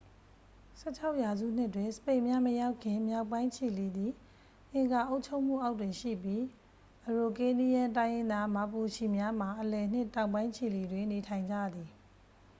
၁၆ ရာစုနှစ်တွင် စပိန်များမရောက်ခင် မြောက်ပိုင်းချီလီသည် အင်ကာအုပ်ချုပ်မှုအောက်တွင်ရှိပြီး အရိုကေးနီးယမ်း တိုင်းရင်းသား မာပူချီများမှာ အလယ်နှင့် တောင်ပိုင်း ချီလီတွင် နေထိုင်ကြသည်။